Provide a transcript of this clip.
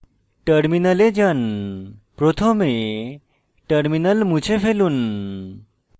terminal যান প্রথমে terminal মুছে ফেলুন